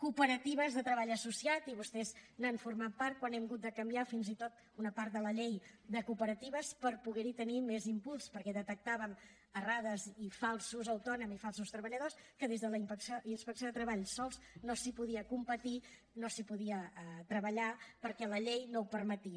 cooperatives de treball associat i vostès n’han format part quan hem hagut de canviar fins i tot una part de la llei de cooperatives per poder hi tenir més impuls perquè detectàvem errades i falsos autònoms i falsos treballadors que des de la inspecció de treball sols no s’hi podia treballar perquè la llei no ho permetia